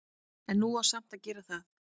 En nú á samt að gera það.